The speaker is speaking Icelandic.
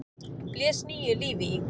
blés nýju lífi í.